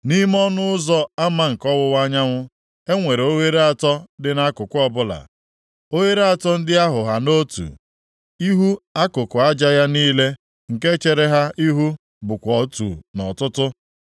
Nʼime ọnụ ụzọ ama nke ọwụwa anyanwụ, e nwere oghere atọ dị nʼakụkụ ọbụla, oghere atọ ndị ahụ ha nʼotu. Ihu akụkụ aja ya niile nke chere ha ihu bụkwa otu nʼọtụtụ.